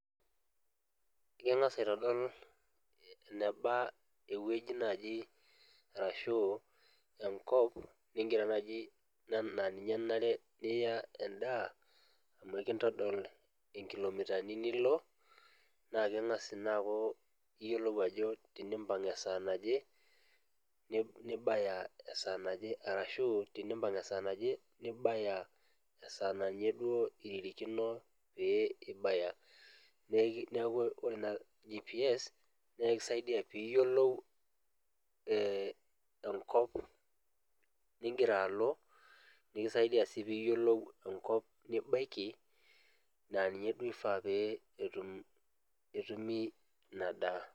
ingas aitodol eneba ewueji naaji arashu enkop, nigira naaji naa ninye enare niya edaa, amu ekintodol inkilomitani nilo, naa kengas ina aku iyiolou ajo tenimpang' esaa naje nibaya esaa naje, arashu tenimpang esaa naa ninye duo iririkino pee iabaya, neeku ore naa GPS naa ekisiadia pee iyiolou ee enkop nigira alo, nikisaidia sii pee iyiolou enkop nibaiki. naa ninye duo ifaa pee etum etumi ina daa.